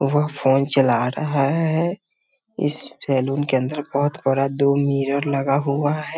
वह फोन चला रहा है इस सैलून के अंदर बहुत बड़ा दो मिरर लगा हुआ है।